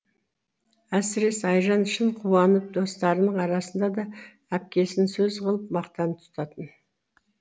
әсіресе айжан шын қуанып достарының арасында да әпкесін сөз қылып мақтан тұтатын